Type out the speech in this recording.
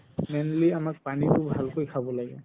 mainly আমাৰ পানিতো আমি ভালকৈ খাব লাগে